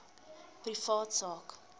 privaat sak